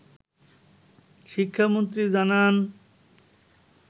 শিক্ষামন্ত্রী জানান